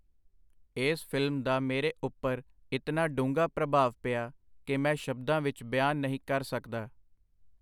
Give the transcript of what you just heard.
ਇਸ ਫਿਲਮ ਦਾ ਮੇਰੇ ਉਪਰ ਕਿਤਨਾ ਡੂੰਘਾ ਪ੍ਰਭਾਵ ਪਿਆ ਕਿ ਮੈਂ ਸ਼ਬਦਾਂ ਵਿਚ ਬਿਆਨ ਨਹੀਂ ਕਰ ਸਕਦਾ.